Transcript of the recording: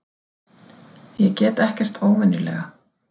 Ég get ekkert óvenjulega.